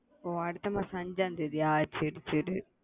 ஒ அடுத்த மாசம் அஞ்சா தேதியா சரி சரி